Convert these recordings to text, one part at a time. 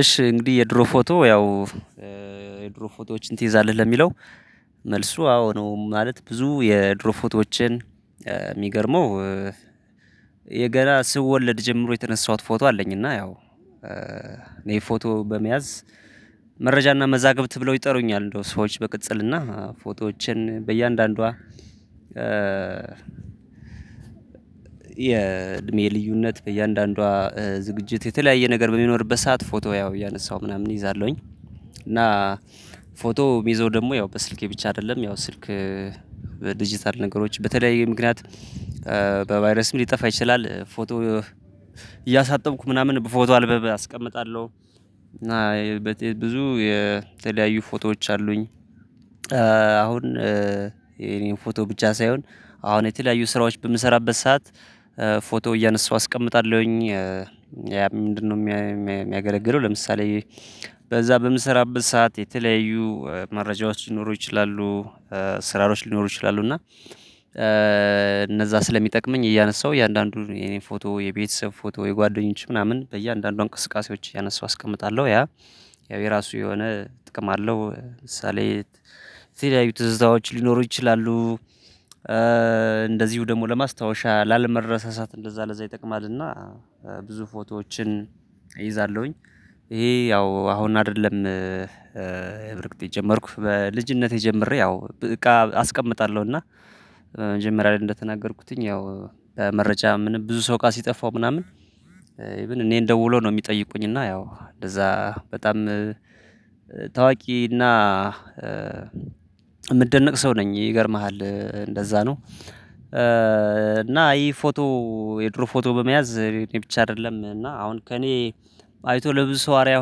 እሺ እንግዲህ የድሮ ፎቶ ያው እ የድሮ ፎቶዎችን ትይዛለህ ለሚለው መልሱ አዎ ነው። ማለት ብዙ የድሮ ፎቶዎችን እ የሚገርመው የገና ስወለድ ጀምሮ የተነሳሁት ፎቶ አለኝ። እና ያው እ እኔ ፎቶ በመያዝ መረጃና መዛግብት ብለው ይጠሩኛል እንደው ሰዎች በቅጽልና ፎቶዎችን በእያንዳንዷ እ የእድሜ ልዩነት በእያንዳንዷ ዝግጅት የተለያየ ነገር በሚኖርበት ሰዓት ፎቶ ያው እያነሳሁ ምናምን እይዛለሁኝ። እና ፎቶ የምይዘው ደግሞ ያው በስልኬ ብቻ አይደለም ያው ስልክ ዲጂታል ነገሮች በተለያየ ምክንያት በቫይረስም ሊጠፋ ይችላል። ፎቶ እያሳጠብኩ ምናምን በፎቶ አልበም አስቀምጣለሁ። እና ብዙ የተለያዩ ፎቶዎች አሉኝ። እ አሁን እ የኔን ፎቶ ብቻ ሳይሆን አሁን የተለያዩ ስራዎች በምሰራበት ሰዓት እ ፎቶ እያነሳሁ አስቀምጣለሁኝ። ምንድነው የሚያገለግለው? ለምሳሌ በዛ በምሰራበት ሰዓት የተለያዩ መረጃዎች ሊኖሩ ይችላሉ እ ስራዎች ሊኖሩ ይችላሉ። እና እ እነዛ ስለሚጠቅመኝ እያነሳሁ እያንዳንዱን የኔን ፎቶ የቤተሰብ ፎቶ የጓደኞች ምናምን በእያንዳንዱ እንቅስቃሴዎች እያነሳው አስቀምጣለሁ። ያ ያው የራሱ የሆነ እጥቅም አለው። ለምሳሌ የተለያዩ ትዝታዎች ሊኖሩ ይችላሉ። እ እንደዚሁ ደግሞ ለማስታወሻ ላለመረሳሳት እንደዛ ለዛ ይጠቅማልና ብዙ ፎቶዎችን እይዛለሁኝ። ይሄ ያው አሁን አይደለም እ በርግጥ የጀመርኩት በልጅነቴ ጀምሬ ያው እቃ አስቀምጣለሁኝ። እና መጀመሪያ ላይ እንደተናገርኩት ያው በመረጃ ብዙ ሰው እቃ ስጠፋው ምናምን። እኔን ደዉለው ነው የሚጠይቁኝ። እና ያው ለዛ በጣም እ ታዋቂ እና እ የምደነቅ ሰው ነኝ። ይገርምሃል እንደዛ ነው። እ እና ይሄ ፎቶ የድሮ ፎቶ በመያዝ እኔ ብቻ አይደለም እና አሁን ከእኔ አይቶ ለብዙ ሰው አርያ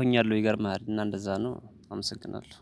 ሆኛለሁ። ይገርምሃል እና እንደዛ ነው አመሰግናለሁ።